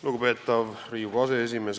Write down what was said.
Lugupeetav Riigikogu aseesimees!